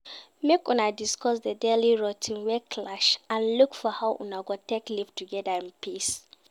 Make Una discuss the daily routine wey clash and look for how Una go take live together in peace